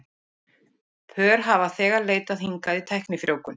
Pör hafa þegar leitað hingað í tæknifrjóvgun.